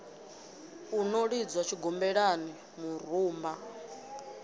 u no lidzwa tshigombelani murumba